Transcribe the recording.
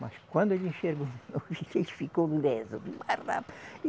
Mas quando ele enxergou, ele ficou leso.